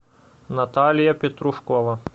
наталья петрушкова